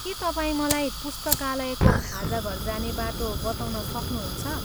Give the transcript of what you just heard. के तपाईँ मलाई पुस्तकालयको खाजाघर जाने बाटो बताउन सक्नुहुन्छ?